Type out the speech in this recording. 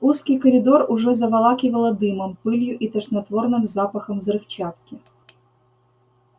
узкий коридор уже заволакивало дымом пылью и тошнотворным запахом взрывчатки